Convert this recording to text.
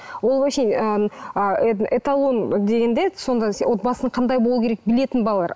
ол вообще ыыы эталон дегенде сондай отбасының қандай болу керек білетін балалар